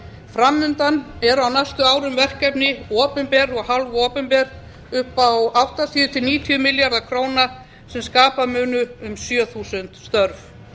fram undan eru á næstu árum verkefni opinber og hálfopinber upp á áttatíu til níutíu milljarða króna sem skapa munu um sjö þúsund störf